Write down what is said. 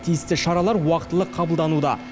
тиісті шаралар уақтылы қабылдануда